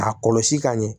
A kɔlɔsi ka ɲɛ